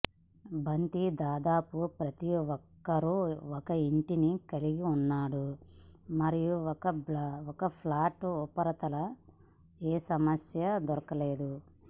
బంతి దాదాపు ప్రతి ఒక్కరూ ఒక ఇంటిని కలిగి ఉన్నాడు మరియు ఒక ఫ్లాట్ ఉపరితల ఏ సమస్య దొరకలేదు